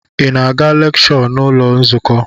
Ị na-aga lekshọ n'ụlọ nzukọ?